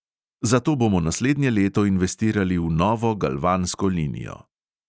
Zato bomo naslednje leto investirali v novo galvansko linijo.